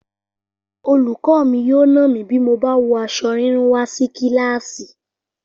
Olùkọ́ mi yóò nà mí bí mo bá wọ aṣọ rírún wá sí kíláàsì